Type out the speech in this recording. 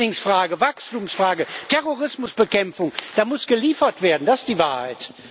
Flüchtlingsfrage, Wachstumsfrage, Terrorismusbekämpfung, da muss geliefert werden, das ist die Wahrheit.